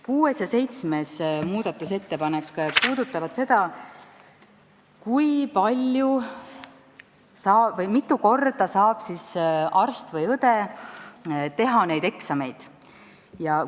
Kuues ja seitsmes muudatusettepanek puudutavad seda, kui mitu korda saab arst või õde neid eksameid teha.